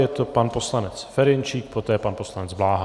Je to pan poslanec Ferjenčík, poté pan poslanec Bláha.